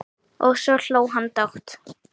Og svo hló hann dátt!